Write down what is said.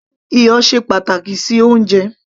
iyọ̀ ṣe pàtàkì sí oúnjẹ